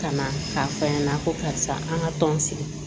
Ka na k'a f'a ɲɛna ko karisa an ka tɔn sigi